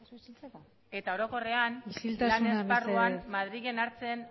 isiltasuna mesedez lan esparruan madrilen hartzen